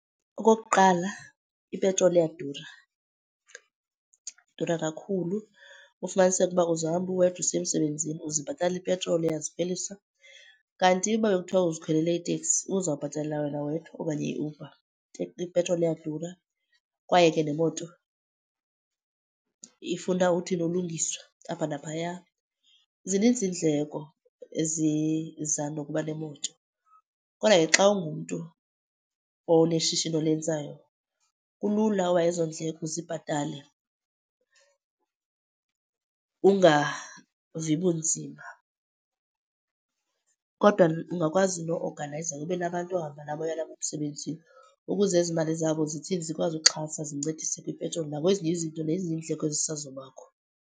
Okokuqala ipetroli iyadura, idura kakhulu. Ufumaniseke uba uzohamba uwedwa usiya emsebenzini uzibhatalela ipetroli, uyazikhwelisa. Kanti uba bekuthiwa uzikhwelele iteksi ubuzawubhatalela wena wedwa okanye iUber. Ipetroli iyadura kwaye ke nemoto ifuna uthini, ulungiswa apha naphaya. Zininzi iindleko eziza nokuba nemoto kodwa ke xa ungumntu oneshishini olenzayo, kulula uba ezo ndleko uzibhatale ungavi bunzima. Kodwa ungakwazi no-oganayiza ube nabantu ohamba nabo oya nabo emsebenzini ukuze ezi mali zabo zithini, zikwazi uxhasa, zincedise kwipetroli nakwezinye izinto nakwezinye iindleko ezisazobakho.